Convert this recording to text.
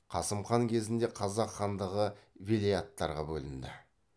қасым хан кезінде қазақ хандығы велеяттарға бөлінді